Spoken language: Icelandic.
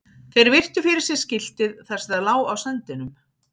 Þeir virtu fyrir sér skiltið þar sem það lá á sandinum.